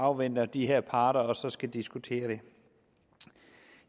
afventer de her parter og så skal diskutere det